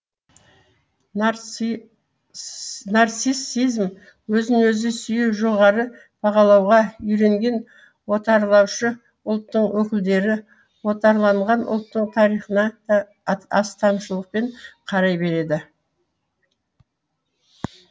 нарциссизм өзін өзі сүю жоғары бағалауға үйренген отарлаушы ұлттың өкілдері отарланған ұлттың тарихына да астамшылықпен қарай береді